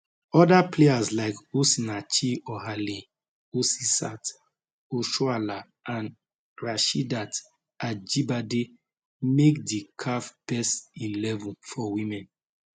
oda players like osinachi ohale asisat oshoala and rasheedat ajibade make di caf best eleven for women